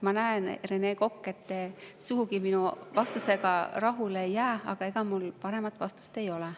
Ma näen, Rene Kokk, et te sugugi minu vastusega rahule ei jää, aga ega mul paremat vastust ei ole.